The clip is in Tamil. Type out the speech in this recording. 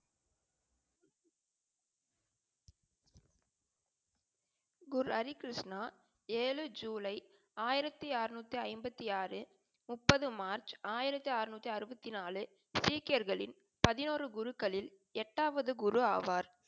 குரு ஹரி கிருஷ்ணா ஏழு ஜூலை ஆயிரத்தி ஆறநூற்றி ஐம்பத்தி ஆறு, முப்பது மார்ச் ஆயிரத்தி ஆறநூற்றி ஆறுபதி நாலு சீக்கியர்களின் பதினூறு குருகளில் எட்டாவது குரு ஆவர்.